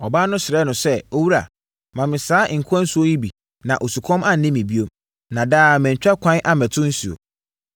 Ɔbaa no srɛɛ no sɛ, “Owura, ma me saa nkwa nsuo yi bi na osukɔm anne me bio, na daa mantwa kwan ammɛto nsuo.”